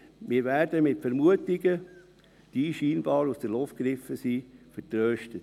Wir werden mit Vermutungen, die scheinbar aus der Luft gegriffen sind, vertröstet.